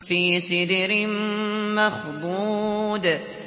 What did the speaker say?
فِي سِدْرٍ مَّخْضُودٍ